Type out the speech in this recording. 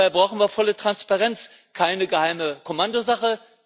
Dabei brauchen wir volle Transparenz, keine geheime Kommandosache.